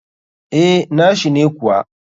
Eh, nashi ne kuwa.